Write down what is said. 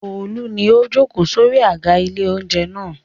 Olú ni ó jókòó sórí àga ilé-oúnjẹ náà.